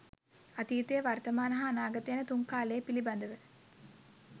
අතීතය වර්තමාන හා අනාගත යන තුන් කාලය පිළිබඳව